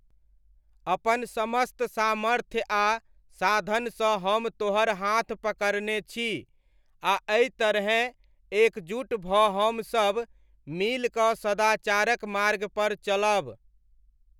अपन समस्त सामर्थ्य आ साधनसँ हम तोहर हाथ पकड़ने छी, आ एहि तरहेँ एकजुट भऽ हमसब मिलिकऽ सदाचारक मार्गपर चलब।